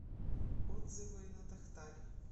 отзывы натахтари